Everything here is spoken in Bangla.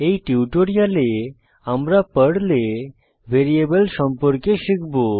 এই টিউটোরিয়ালে আমরা পর্লে ভ্যারিয়েবল সম্পর্কে শিখব